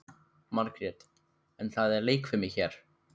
Margrét: En það er leikfimi hér.